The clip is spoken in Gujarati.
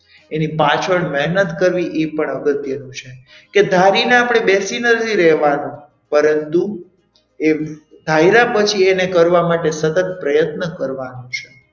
એની પાછળ મહેનત કરવી એ પણ અગત્યનું છે કે ધારીને આપણે બેસી નથી રહેવાનું પરંતુ એ ધાર્યા પછી એને કરવા માટે એને સતત પ્રયત્ન કરવાનું છે.